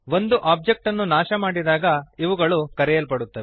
ಒಂದು ಒಬ್ಜೆಕ್ಟ್ ಅನ್ನು ನಾಶ ಡಿಸ್ಟ್ರಾಯ್ ಮಾಡಿದಾಗ ಇವುಗಳು ಕರೆಯಲ್ಪಡುತ್ತವೆ